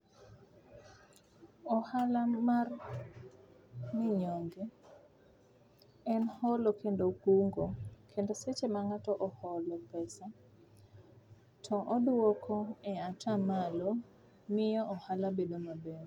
Ohala mar minyonge en holo kendo kungo, kendo seche ma ng'ato oholo pesa to oduoko e atamalo, miyo ohala bedo maber.